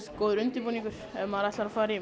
góður undirbúningur ef maður ætlar að fara í